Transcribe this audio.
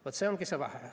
Vaat see ongi see vahe.